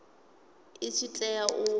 i tshi tea u vha